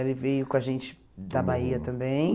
Ele veio com a gente da Bahia também.